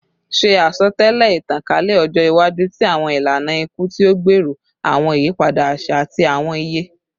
Ṣe asọtẹlẹ itankalẹ ọjọ iwaju ti awọn ilana iku ti o gbero awọn iyipada aṣa ati awọn iye